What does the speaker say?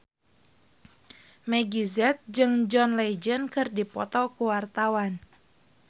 Meggie Z jeung John Legend keur dipoto ku wartawan